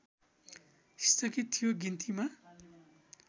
स्थगित थियो गिन्तीमा